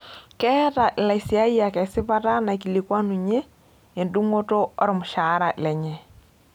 Keeta ilaisiyiak esipata naikikikuanunye endung'oto olmushaara lenye.